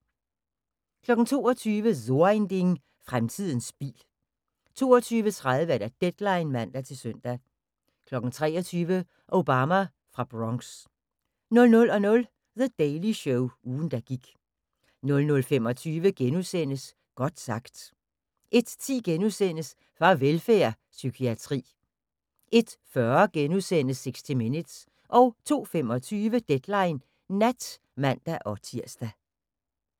22:00: So ein Ding: Fremtiden bil 22:30: Deadline (man-søn) 23:00: Obama fra Bronx 00:00: The Daily Show – ugen der gik 00:25: Godt sagt * 01:10: Farvelfærd: Psykiatri * 01:40: 60 Minutes * 02:25: Deadline Nat (man-tir)